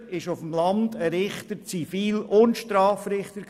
Früher war ein Richter auf dem Land Zivil- und Strafrichter.